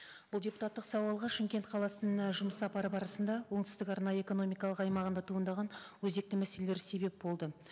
бұл депутаттық сауалға шымкент қаласына жұмыс сапары барысында оңтүстік арнайы экономикалық аймағында туындаған өзекті мәселелер себеп болды